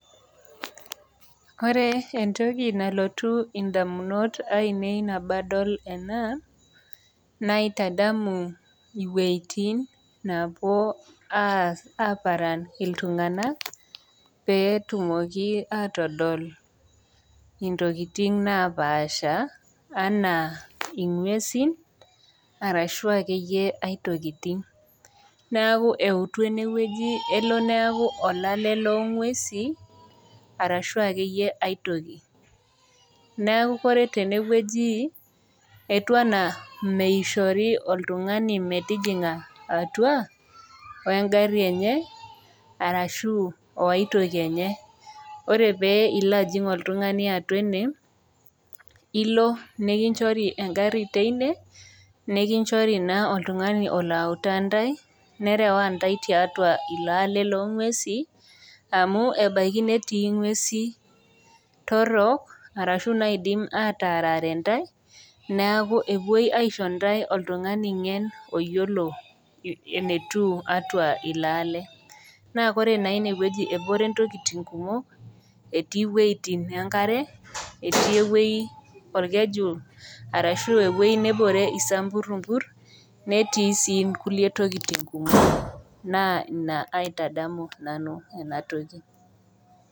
Ore entoki nalotu edamunot ainei tenadol ena naitamu ewuejitin napuo aparan iltung'ana petumoki atodol entokitin napashaa ena ng'uesi ashu kulie tokitin neeku ewutu enewueji elo neeku olale loo ng'uesi ashu akeyie aitoki neeku ore tene wueji etiu ena mishori oltung'ani metejinga atua wee gari enye ashu waitoki ake enye ore piloo oltung'ani ajig atua ene elo mikinjori egari teine nikichori oltung'ani oloo arewa ntae neuta ntae tiatua elo alee loo ng'uesi amu ebaiki netii ng'uesi torok ashu naidim atarare ntae neeku epuoito aishoo ntae oltung'ani ngen oyiolo enetiu atua elo ale naa ore enewueji before ntokitin kumok etii wuejitin enkare etii ewueji orkeju ashu ewueji nebore esamburumbur netii sii nkulie tokitin kumok naa ena nanu aitadamu ena toki